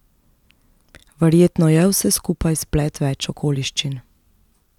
Verjetno je vse skupaj splet več okoliščin.